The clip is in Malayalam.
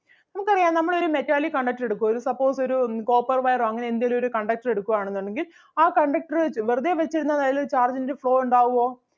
നമുക്ക് അറിയാം നമ്മൾ ഒരു metalic conductor എടുക്കുവാ. suppose ഒരു ഉം copper wire ഓ അങ്ങനെ എന്തേലും ഒരു conductor എടുക്കുവാണെന്നുണ്ടെങ്കിൽ ആ conductor അഹ് വെറുതേ വച്ചിരുന്നാലതിലൊരു charge ൻ്റെ flow ഒണ്ടാകുവോ?